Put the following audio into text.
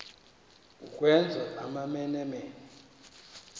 ukwenza amamene mene